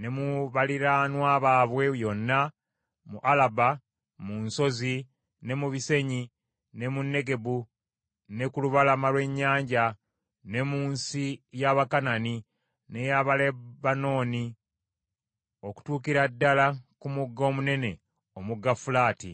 ne mu baliraanwa baabwe yonna mu Alaba, mu nsozi, ne mu bisenyi, ne mu Negebu, ne ku lubalama lw’ennyanja, ne mu nsi ya Bakanani n’ey’Abalebanooni, okutuukira ddala ku mugga omunene, Omugga Fulaati.